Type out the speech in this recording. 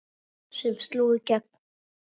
sem sló í gegn.